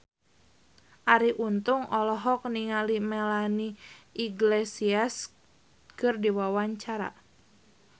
Arie Untung olohok ningali Melanie Iglesias keur diwawancara